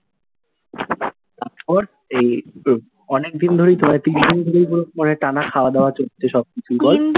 অনেক দিন ধরেই, প্রায় তিন দিন ধরেই পুরো টানা খাওয়া দাওয়া চলেছে সব কিছু , বল?